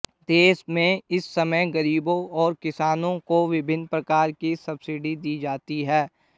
देश में इस समय गरीबों और किसानों को विभिन्न प्रकार की सब्सिडी दी जाती है